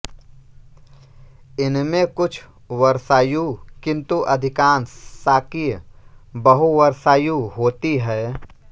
इनमें कुछ वर्षायु किंतु अधिकांश शाकीय बहुवर्षायु होती हैं